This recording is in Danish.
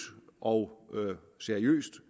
og seriøst